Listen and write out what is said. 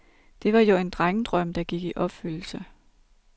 Det var jo en drengedrøm, der gik i opfyldelse.